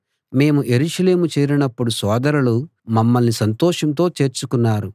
మేము యెరూషలేము చేరినప్పుడు సోదరులు మమ్మల్ని సంతోషంతో చేర్చుకున్నారు